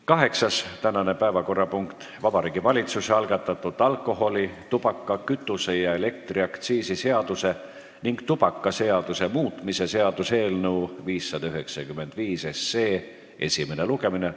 Kaheksas päevakorrapunkt on Vabariigi Valitsuse algatatud alkoholi-, tubaka-, kütuse- ja elektriaktsiisi seaduse ning tubakaseaduse muutmise seaduse eelnõu 595 esimene lugemine.